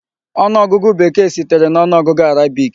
Ọnụọgụgụ Bekee sitere na ọnụọgụ Arabic.